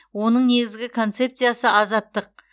оның негізгі концепциясы азаттық